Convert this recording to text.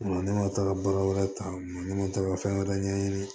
Wa ne ma taga bara wɛrɛ ta ne ma taa ka fɛn wɛrɛ ɲɛɲini